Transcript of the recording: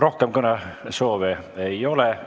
Rohkem kõnesoove ei ole.